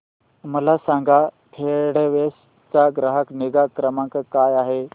मला सांगा फेडेक्स चा ग्राहक निगा क्रमांक काय आहे